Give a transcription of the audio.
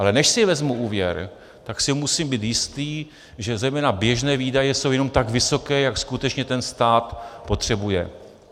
Ale než si vezmu úvěr, tak si musím být jistý, že zejména běžné výdaje jsou jenom tak vysoké, jak skutečně ten stát potřebuje.